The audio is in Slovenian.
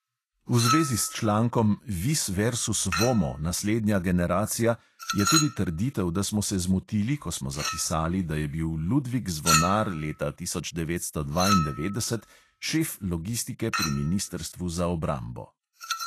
V zvezi s člankom vis versus vomo – naslednja generacija je tudi trditev, da smo se zmotili, ko smo zapisali, da je bil ludvik zvonar leta tisoč devetsto dvaindevetdeset šef logistike pri ministrstvu za obrambo.